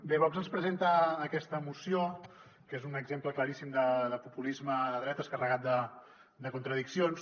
bé vox ens presen·ta aquesta moció que és un exemple claríssim de populisme de dretes carregat de contradiccions